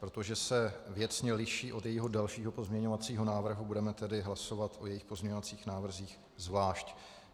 Protože se věcně liší od jejího dalšího pozměňovacího návrhu, budeme tedy hlasovat o jejích pozměňovacích návrzích zvlášť.